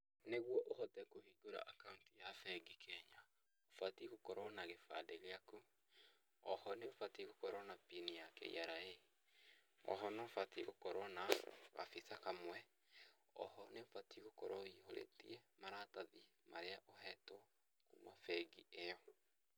Nĩguo ũhote kũhingũra account ya bengi Kenya, ũbatiĩ gũkorwo na gĩbandĩ gĩaku, o ho nĩ ũbatiĩ gũkorwo na pin ya KRA, o ho nĩ ũbatiĩ gũkorwo na gabica kamwe, o ho nĩ ũbatiĩ gũkorwo ũihũrĩtie maratathi marĩa ũhetwo kuuma bengi ĩyo.